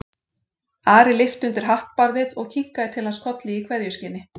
Ari lyfti undir hattbarðið og kinkaði til hans kolli í kveðjuskyni.